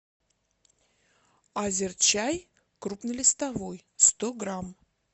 азерчай крупнолистовой сто грамм